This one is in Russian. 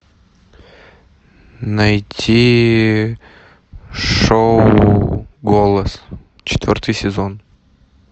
найти шоу голос четвертый сезон